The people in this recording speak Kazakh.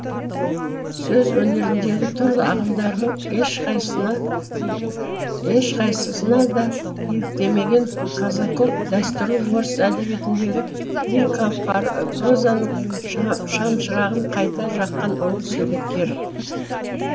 сөз өнеріндегі түрлі ағымдардың ешқайсысына да еліктемеген казаков дәстүрлі орыс әдебиетіндегі лирикалық прозаның шамшырағын қайта жаққан ұлы суреткер